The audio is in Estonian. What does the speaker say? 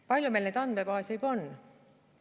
Palju meil neid andmebaase juba on?